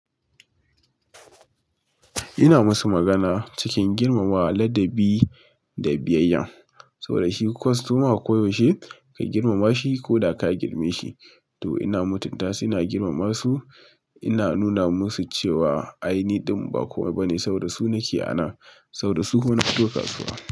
Ina musu magana cikin girmamawa, ladabi da biyayya. Sau da shi kostoma koyaushe ka girmama shi ko da ka girme shi. To ina mutunta su ina girmama su, ina nuna musu cewa aini din ba komai ba ne saboda da su nake ana, saboda da su kuma nafito kasuwa.